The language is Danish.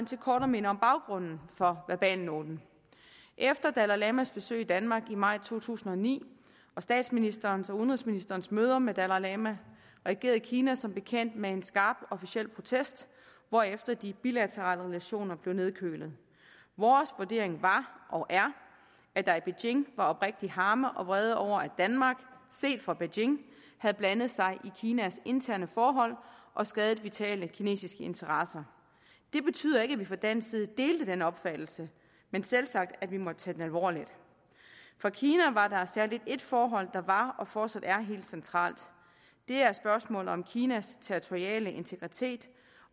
til kort at minde om baggrunden for verbalnoten efter dalai lamas besøg i danmark i maj to tusind og ni og statsministerens og udenrigsministerens møder med dalai lama reagerede kina som bekendt med en skarp officiel protest hvorefter de bilaterale relationer blev nedkølet vores vurdering var og er at der i beijing var oprigtig harme og vrede over at danmark set fra beijing havde blandet sig i kinas interne forhold og skadet vitale kinesiske interesser det betyder ikke at vi fra dansk side delte den opfattelse men selvsagt at vi måtte tage den alvorligt for kina var der særlig et forhold som var og fortsat er helt centralt det er spørgsmålet om kinas territoriale integritet